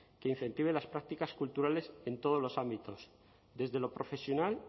que incentive las prácticas culturales en todos los ámbitos desde lo profesional